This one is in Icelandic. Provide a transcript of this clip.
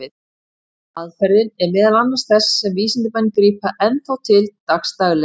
Aðferðin er meðal þess sem vísindamenn grípa enn þá til dagsdaglega.